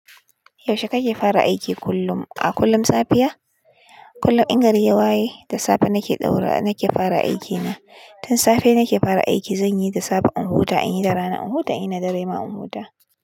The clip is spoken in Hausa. Yaushe kake fara aiki kullum? A kullum safiya? Kullum in gari ya waye da safe nake ɗaura, nake fara aikina. Tun safe nake fara aiki, zan yi da safe in huta, in yi da rana in huta, in yi na dare ma in huta.